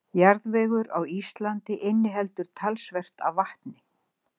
Jarðvegur á Íslandi inniheldur talsvert af vatni.